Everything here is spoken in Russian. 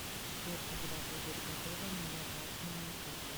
сбер когда будет готова моя платиновая карта